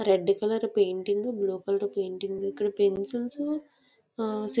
red colour painting blue colour painting .ఇక్కడ pencils ఆ --]